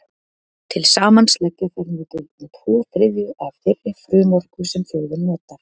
Til samans leggja þær nú til um tvo þriðju af þeirri frumorku sem þjóðin notar.